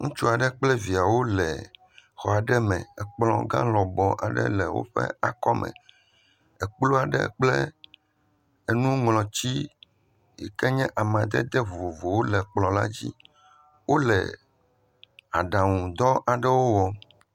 Ŋutsu aɖe kple viawo le xɔ aɖe me, ekplɔ gã lɔbɔ aɖe le woƒe akɔme. Ekpu aɖe kple enuŋlɔti yike nye amadede vovovowo le kplɔ la dzi. Wole aɖaŋudɔ aɖewo wɔm.